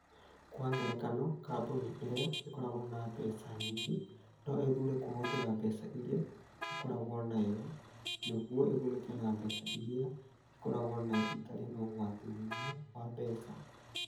Kwa ngerekano, kambuni ĩrĩa ĩkoragwo na mbeca nyingĩ no ĩthuure kũhũthĩra mbeca iria ĩkoragwo nayo nĩguo ĩgunĩke nĩ mbeca iria ĩkoragwo nayo ĩtarĩ na ũgwati mũnene wa mbeca.